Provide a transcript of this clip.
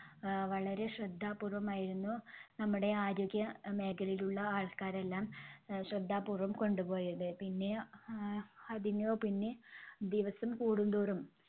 ആഹ് വളരെ ശ്രദ്ധാപൂർവ്വമായിരുന്നു നമ്മുടെ ആരോഗ്യമേഖലയിലുള്ള ആൾക്കാരെല്ലാം അഹ് ശ്രദ്ധാപൂർവം കൊണ്ടുപോയത്. പിന്നെ ആഹ് അതിനു പിന്നെ ദിവസം കൂടുംതോറും